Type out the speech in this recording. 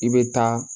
I bɛ taa